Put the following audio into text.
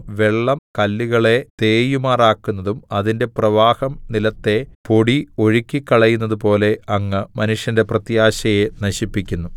വെള്ളം കല്ലുകളെ തേയുമാറാക്കുന്നതും അതിന്റെ പ്രവാഹം നിലത്തെ പൊടി ഒഴുക്കിക്കളയുന്നതു പോലെ അങ്ങ് മനുഷ്യന്റെ പ്രത്യാശയെ നശിപ്പിക്കുന്നു